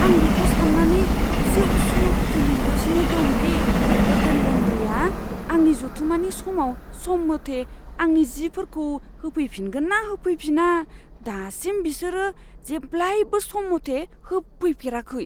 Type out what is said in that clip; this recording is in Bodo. आं बेखौ सान्नानै एसे उसुखुथु मोनगासिनो दं दि, हटेल लन्ड्रीआ आंनि जथुम्मानि समाव सम मथै आंनि जिफोरखौ होफैफिनगोन ना होफैफिना। दासिम, बिसोरो जेब्लायबो सम मथै होफैफेराखै।